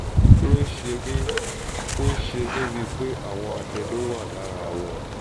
ó ń ṣe mí ń ṣe mí bíi pé àwọn adẹ́nú wà lára wọn